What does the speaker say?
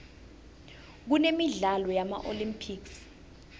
kunemidlalo yama olympics